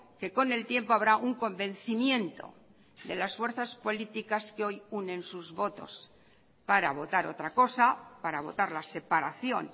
que con el tiempo habrá un convencimiento de las fuerzas políticas que hoy unen sus votos para votar otra cosa para votar la separación